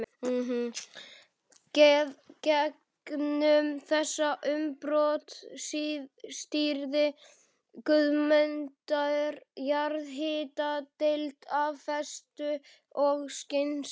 Gegnum þessi umbrot stýrði Guðmundur jarðhitadeild af festu og skynsemi.